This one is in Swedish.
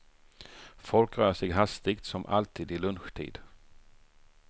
Folk rör sig hastigt, som alltid i lunchtid.